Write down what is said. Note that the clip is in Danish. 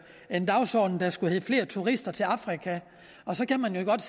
en dagsorden der skulle hedde flere turister til afrika så kan man jo godt